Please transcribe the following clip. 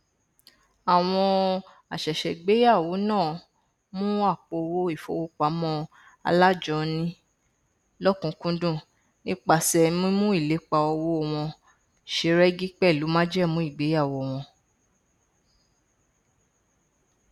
àwọn àsẹsẹgbéyàwó náà mu àpòowó ìfowópamọ alájọni lọkùnúnkúndùn nípasẹ mímú ìlépa owó wọn ṣe rẹgí pẹlú májẹmú ìgbeyàwó wọn